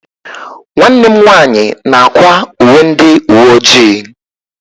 Nwanne m nwanyị na-akwa uwe ndị uwe ojii.